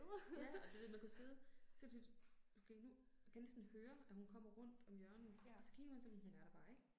Ja, du ved man kunne sidde så tit, okay, nu kan jeg næsten høre, at hun kommer rundt om hjørnet, og så kigger man så men hun er der bare ikke